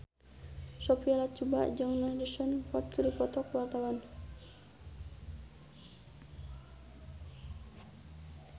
Sophia Latjuba jeung Harrison Ford keur dipoto ku wartawan